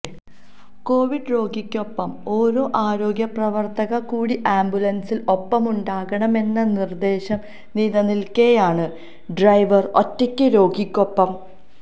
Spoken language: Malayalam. കൊവിഡ് രോഗിക്കൊപ്പം ഓരു ആരോഗ്യപ്രവര്ത്തക കൂടി ആംബുലന്സില് ഒപ്പമുണ്ടാകണമെന്ന നിര്ദ്ദേശം നിലനില്ക്കെയാണ് ഡ്രൈവര് ഒറ്റയ്ക്ക് രോഗിക്കൊപ്പം